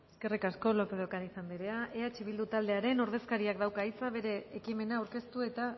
eskerrik asko lópez de ocariz anderea eh bildu taldearen ordezkariak dauka hitza bere ekimena aurkeztu eta